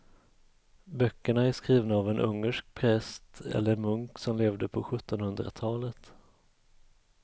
Böckerna är skrivna av en ungersk präst eller munk som levde på sjuttonhundratalet.